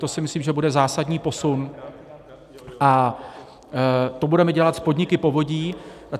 To si myslím, že bude zásadní posun, a to budeme dělat s podniky povodí.